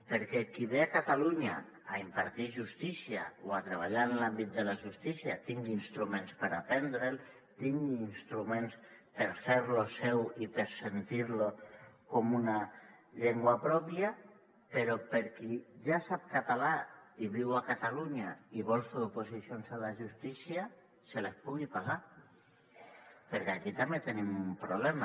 perquè qui ve a catalunya a impartir justícia o a treballar en l’àmbit de la justícia tingui instruments per aprendre’l tingui instruments per fer lo seu i per sentir lo com una llengua pròpia però per a qui ja sap català i viu a catalunya i vol fer oposicions a la justícia se les pugui pagar perquè aquí també tenim un problema